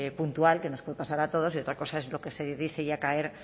puntual que nos puede pasar a todos y otra cosa es lo que se dice ya caer